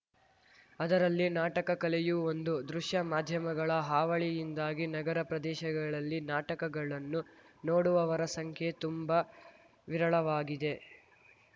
ಅದರಲ್ಲಿ ನಾಟಕ ಕಲೆಯೂ ಒಂದು ದೃಶ್ಯ ಮಾಧ್ಯಮಗಳ ಹಾವಳಿಯಿಂದಾಗಿ ನಗರ ಪ್ರದೇಶಗಳಲ್ಲಿ ನಾಟಕಗಳನ್ನು ನೋಡುವವರ ಸಂಖ್ಯೆ ತುಂಬಾ ವಿರಳವಾಗಿದೆ